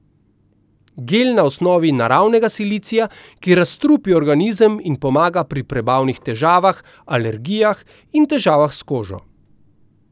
Gel na osnovi naravnega silicija, ki razstrupi organizem in pomaga pri prebavnih težavah, alergijah in težavah s kožo.